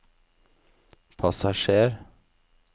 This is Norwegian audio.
passasjer